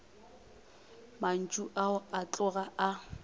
mantšu ao a tloga a